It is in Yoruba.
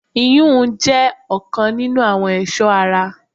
iyùn jẹ́ ọ̀kan nínu àwọn ẹ̀sọ́ ara.